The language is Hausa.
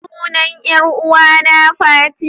Sunan ƴar'uwana fati.